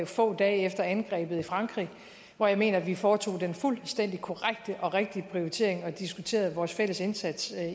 få dage efter angrebet i frankrig hvor jeg mener at vi foretog den fuldstændig korrekte og rigtige prioritering og diskuterede vores fælles indsats